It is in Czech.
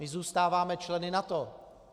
My zůstáváme členy NATO.